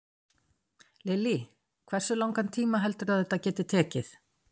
Lillý: Hversu langan tíma heldurðu að þetta geti tekið?